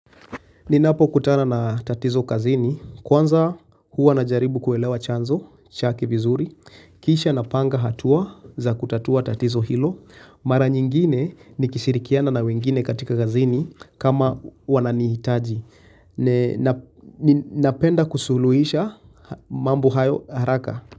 Ninapo kutana na tatizo kazini, kwanza huwa najaribu kuelewa chanzo, chake vizuri, kisha na panga hatua za kutatua tatizo hilo, mara nyingine ni kishirikiana na wengine katika kazini kama wananihitaji. Napenda kusuluhisha mambo hayo haraka.